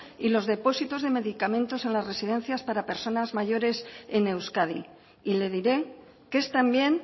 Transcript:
y los depósitos de medicamentos en las residencias para personas mayores en euskadi y le diré que es también